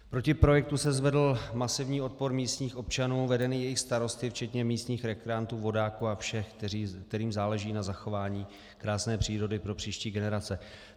Proti projektu se zvedl masivní odpor místních občanů vedený jejich starosty včetně místních rekreantů, vodáků a všech, kterým záleží na zachování krásné přírody pro příští generace.